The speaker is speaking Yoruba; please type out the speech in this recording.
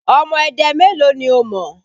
Ọmọ Ẹdẹ mélòó ni o mọ̀?